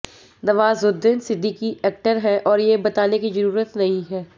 Nawazuddin Siddiqui actor हैं और ये बताने की ज़रूरत नहीं है